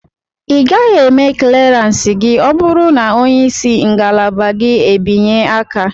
Ị gaghị eme kleransi gị ọ bụrụ na onye isi ngalaba gị e binye aka.